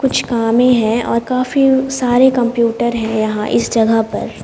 कुछ कामें है और काफी सारे कंप्यूटर है यहां इस जगह पर--